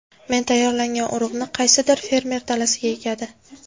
Men tayyorlagan urug‘ni qaysidir fermer dalasiga ekadi.